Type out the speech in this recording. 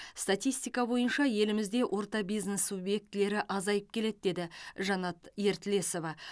статистика бойынша елімізде орта бизнес субъектілері азайып келеді деді жанат ертілесова